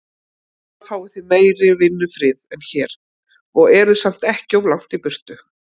Þar fáið þið meiri vinnufrið en hér, og eruð samt ekki of langt í burtu.